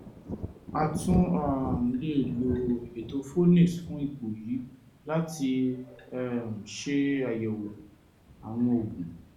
a tún um lè lo ètò phoenix fún ipò yìí láti um ṣe àyẹ̀wò àwọn oògùn